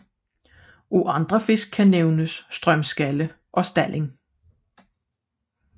Af andre fisk kan nævnes strømskalle og stalling